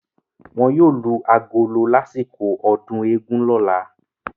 Wọn yóò lu agolo lásìkò ọdún eégún lọ́la.